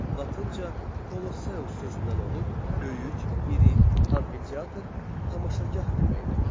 Latınca Koloseus sözündən olub, böyük, iri, amfiteatr, tamaşagah deməkdir.